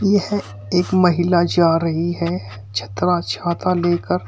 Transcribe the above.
यह एक महिला जा रही है छतरा छाता लेकर।